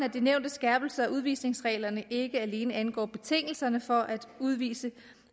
at de nævnte skærpelser af udvisningsreglerne ikke alene angår betingelserne for at udvise